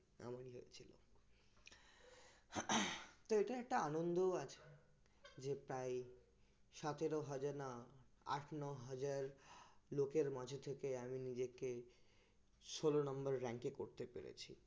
তো এটাই একটা আনন্দ আছে যে তাই সতেরো হাজার না আট ন হাজার লোকের মাঝ থেকে আমি নিজেকে ষোল number rank করতে পেরেছি